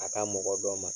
A ka mɔgɔ dɔ ma